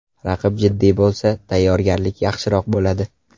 Raqib jiddiy bo‘lsa, tayyorgarlik yaxshiroq bo‘ladi.